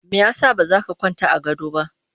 Me ya sa ba za ka kwanta a gado ba?